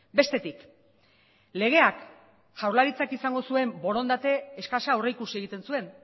bestetik legeak jaurlaritzak izango zuen borondate eskasa aurreikusi egiten zuen